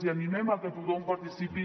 i animem a que tothom participi